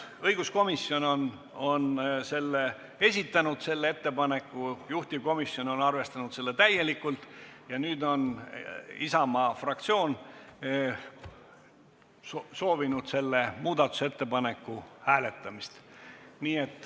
Õiguskomisjon on selle ettepaneku esitanud, juhtivkomisjon on arvestanud seda täielikult ja nüüd on Isamaa fraktsioon soovinud selle muudatusettepaneku hääletamist.